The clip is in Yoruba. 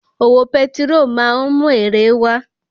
Òwò petiró máa ń mú èrè wá